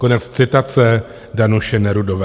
Konec citace Danuše Nerudové.